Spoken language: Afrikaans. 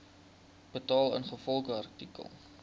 betaal ingevolge artikel